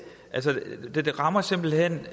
det rammer simpelt hen